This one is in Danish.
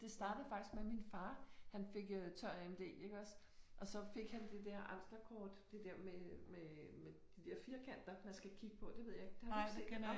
Det startede faktisk med min far han fik øh tør AMD iggås og så fik han det der Amslerkort det der med med med de der firkanter man skal kigge på det ved jeg ikke det har du ikke set?